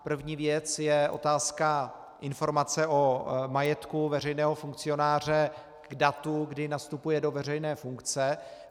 První věc je otázka informace o majetku veřejného funkcionáře k datu, kdy nastupuje do veřejné funkce.